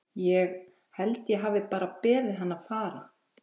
Ég. held ég hafi bara beðið hann að fara.